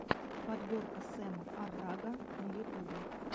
подборка сэма аррага на ютубе